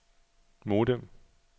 modem